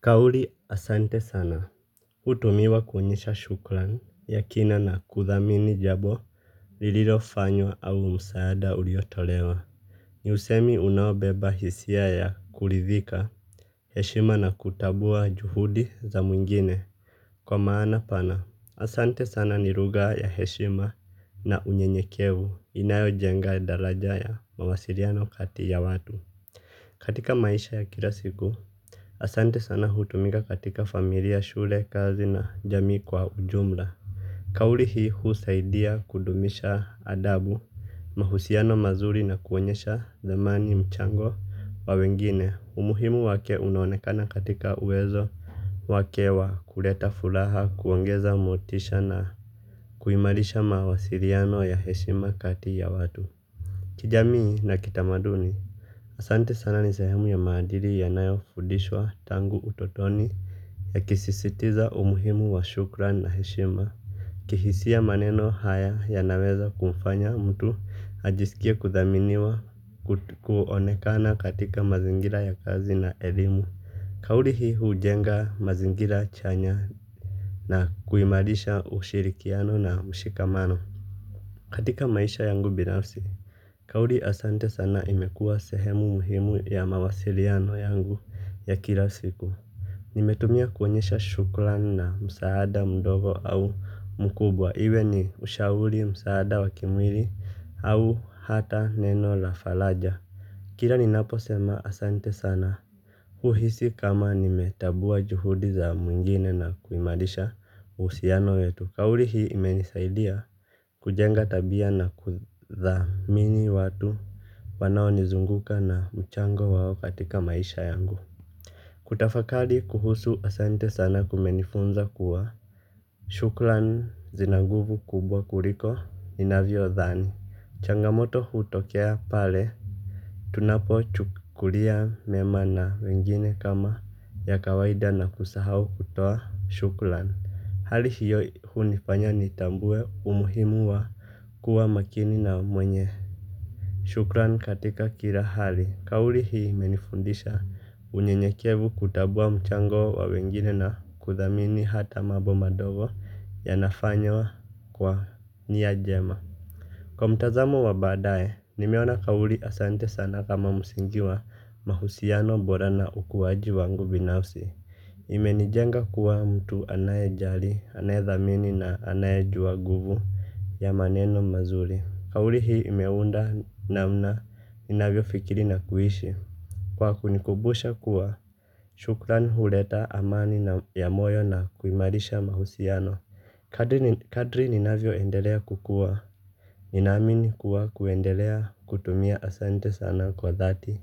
Kauli asante sana, hutumiwa kuonyesha shukran, ya kina na kuthamini jambo, lililofanywa au msaada uliotolewa. Ni usemi unaobeba hisia ya kurithika, heshima na kutambua juhudi za mwingine kwa maana pana. Asante sana ni lugha ya heshima na unyenyekevu inayojenga daraja ya mawasiliano kati ya watu. Katika maisha ya kila siku asante sana hutumika katika familia shule kazi na jamii kwa ujumla. Kauli hii husaidia kudumisha adabu mahusiano mazuri na kuonyesha thamani mchango wa wengine umuhimu wake unaonekana katika uwezo wake wa kuleta furaha kuongeza motisha na kuimarisha mawasiliano ya heshima kati ya watu kijamii na kitamaduni asante sana ni sehemu ya maadili yanoyofundishwa tangu utotoni yakisisitiza umuhimu wa shukran na heshima. Kihisia maneno haya yanaweza kumfanya mtu ajisikie kuthaminiwa kuonekana katika mazingira ya kazi na elimu. Kauli hii hujenga mazingira chanya na kuimarisha ushirikiano na mshikamano. Katika maisha yangu binafsi Kauli Asante sana imekuwa sehemu muhimu ya mawasiliano yangu ya kila siku. Nimetumia kuonyesha shukran na msaada mdogo au mkubwa iwe ni ushauri msaada wa kimwili au hata neno la faraja. Kila ninapo sema asante sana huhisi kama nimetambua juhudi za mwingine na kuimarisha uhusiano wetu. Kauli hii imenisaidia kujenga tabia na kuthamini watu wanaonizunguka na mchango wao katika maisha yangu. Kutafakari kuhusu asante sana kumenifunza kuwa shukran zina nguvu kubwa kuliko ninavyodhani. Changamoto hutokea pale tunapo chukulia mema na wengine kama ya kawaida na kusahau kutoa shukran. Hali hiyo hunifanya nitambue umuhimu wa kuwa makini na mwenye shukran katika kila hali. Kauli hii imenifundisha unyenyekevu kutambua mchango wa wengine na kuthamini hata mambo madogo yanafanywa kwa nia njema. Kwa mtazamo wa baadaye, nimeona kauli asante sana kama msingi wa mahusiano bora na ukuaji wangu binafsi. Imenijenga kuwa mtu anayejali, anayedhamini na anayejua nguvu ya maneno mazuri. Kauli hii imeunda namna ninavyofikiri na kuishi. Kwa kunikumbusha kuwa shukran huleta amani na ya moyo na kuimarisha mahusiano. Kadri ninavyo endelea kukua. Ninaamini kuwa kuendelea kutumia asante sana kwa dhati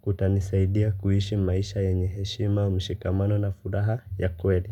kutanisaidia kuishi maisha yenye heshima mshikamano na furaha ya kweli.